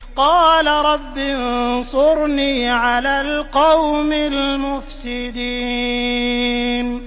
قَالَ رَبِّ انصُرْنِي عَلَى الْقَوْمِ الْمُفْسِدِينَ